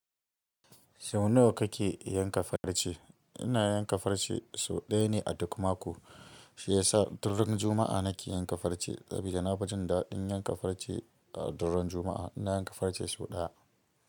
Sau nawa kake yanka farce? Ina yanka farce sau ɗaya ne a duk mako, shi yasa duk run Juma’a nake yanka farce. Saboda na fi jin daɗin yanka farce a duk ran Juma’a, ina yanka farce sau ɗaya.